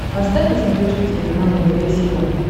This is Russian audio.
поставь на смотрешке телеканал нтв сериал